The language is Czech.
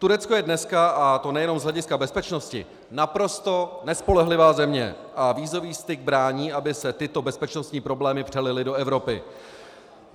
Turecko je dneska, a to nejenom z hlediska bezpečnosti, naprosto nespolehlivá země a vízový styk brání, aby se tyto bezpečnostní problémy přelily do Evropy.